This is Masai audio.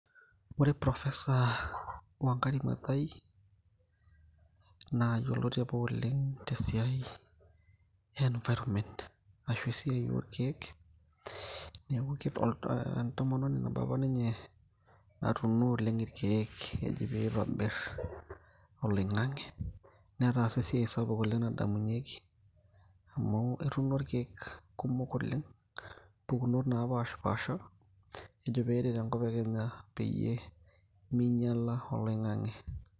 Ore professor Wangari Maathai naa yioloti apa oleng' tesiai e environment ashu esiai oo ilkiek. Niaku kido entomononi apa ninye natuuno oleng' ilkiek pee itobirr oloing`ang`e. Netaasa esiai sapuk oleng' nadamunyieki amu etuuno ilkiek kumok oleng' mpukunot napaashapasha ejo pee eret enkop e Kenya peyie minyiala oloing`ang`e.